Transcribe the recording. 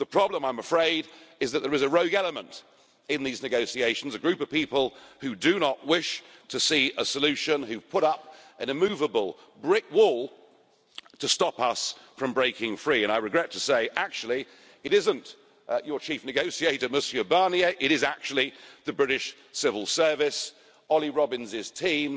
The problem, I'm afraid, is that there is a rogue element in these negotiations, a group of people who do not wish to see a solution, who put up an immovable brick wall to stop us from breaking free, and I regret to say that it isn't your chief negotiator, Monsieur Barnier, but actually the British Civil Service and Olly Robbins' team.